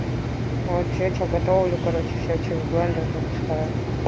вот что что готовлю короче всё через блендер пропускаю